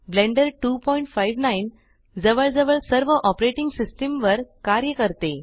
blender 259 जवळजवळ सर्व operating system वर कार्य करते